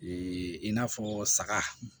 i n'a fɔ saga